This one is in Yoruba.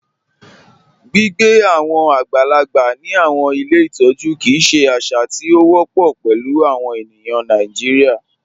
Gbigbe awọn agbàlàgbà ni awọn ilẹ̀ ìtọ̀jú kíi ṣè àṣà tí o wọpọ pẹ̀lú awọn ènìyàn Nàìjíríà.